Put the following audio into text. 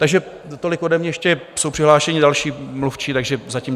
Takže tolik ode mě, ještě jsou přihlášeni další mluvčí, takže zatím.